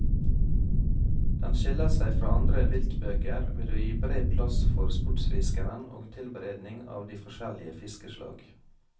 Den skiller seg fra andre viltbøker ved å gi bred plass for sportsfiskeren og tilberedning av de forskjellige fiskeslag.